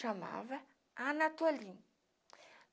Chamava Anatolim.